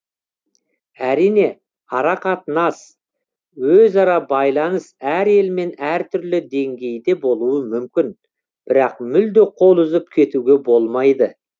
әрине арақатынас өзара байланыс әр елмен әртүрлі деңгейде болуы мүмкін бірақ мүлде қол үзіп кетуге болмайды